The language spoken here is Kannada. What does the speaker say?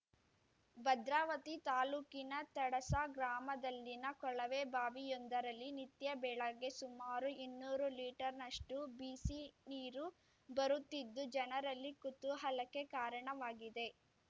ಭದ್ರಾವತಿ ತಾಲೂಕಿನ ತಡಸಾ ಗ್ರಾಮದಲ್ಲಿನ ಕೊಳವೆಬಾವಿಯೊಂದರಲ್ಲಿ ನಿತ್ಯ ಬೆಳಗ್ಗೆ ಸುಮಾರು ಇನ್ನೂರು ಲೀಟರ್‌ನಷ್ಟುಬಿಸಿನೀರು ಬರುತ್ತಿದ್ದು ಜನರಲ್ಲಿ ಕುತೂಹಲಕ್ಕೆ ಕಾರಣವಾಗಿದೆ